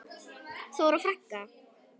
Þóra frænka.